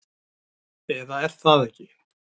Eða er það ekki?